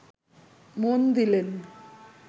মন দিলেন